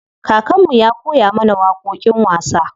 Kakan mu ya koya mana waƙoƙin wasa.